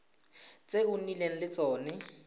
tse o nnileng le tsone